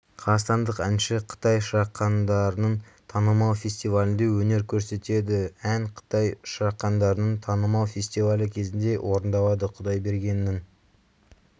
қазақстандық әнші қытай шырақдандарының танымал фестивалінде өнер көрсетеді ән қытай шырақдандарының танымал фестивалі кезінде орындалады құдайбергеннің